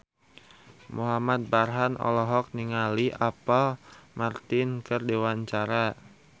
Muhamad Farhan olohok ningali Apple Martin keur diwawancara